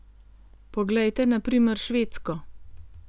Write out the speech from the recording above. Poglejte na primer Švedsko.